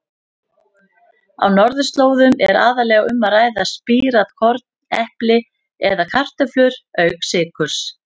Á norðurslóðum er aðallega um að ræða spírað korn, epli eða kartöflur auk sykurs.